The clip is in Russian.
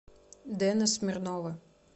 дэна смирнова